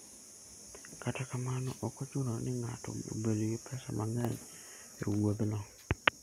Kata kamano, ok ochuno ni ng'ato obed gi pesa mang'eny e wuodhno.